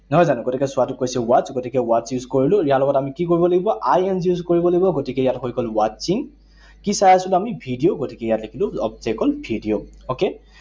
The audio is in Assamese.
নহয় জানো? গতিকে চোৱাটোক কৈছে watch, গতিকে watch use কৰিলো। ইয়াৰ লগত আমি কি কৰিব লাগিব? I N G use কৰিব লাগিব। গতিকে ইয়াত হৈ গল watching, কি চাই আছিলো আমি? ভিডিঅ, গতিকে গতিকে ইয়াত এইটো object হল ভিডিঅ, okay?